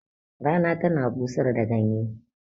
Rana tana busar da ganye